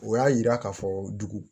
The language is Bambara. O y'a yira k'a fɔ dugu